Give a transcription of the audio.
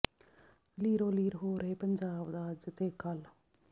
ਲੀਰੋ ਲੀਰ ਹੋ ਰਹੇ ਪੰਜਾਬ ਦਾ ਅੱਜ ਤੇ ਕੱਲ